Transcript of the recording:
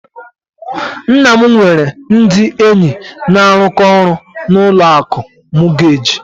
Nna m nwere ndị enyi na-arụkọ ọrụ na ụlọ akụ mọọgeeji.